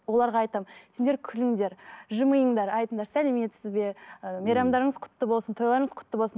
оларға айтамын сендер күліңдер жымиыңдар айтыңдар сәлеметсіз бе ы мейрамдарыңыз құтты болсын тойларыңыз құтты болсын